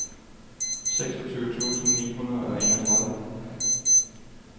seksogtyve tusind ni hundrede og enogtredive